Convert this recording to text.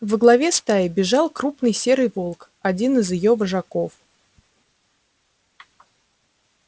во главе стаи бежал крупный серый волк один из её вожаков